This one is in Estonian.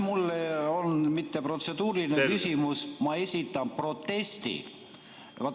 Mul ei ole mitte protseduuriline küsimus, vaid ma esitan protesti.